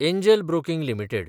angel Broking limited